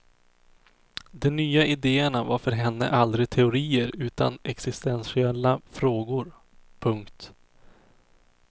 De nya idéerna var för henne aldrig teorier utan existentiella frågor. punkt